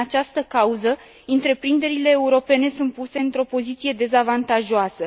Din această cauză, întreprinderile europene sunt puse într o poziție dezavantajoasă.